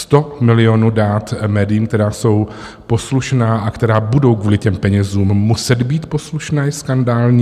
Sto milionů dát médiím, která jsou poslušná a která budou kvůli těm penězům muset být poslušná, je skandální.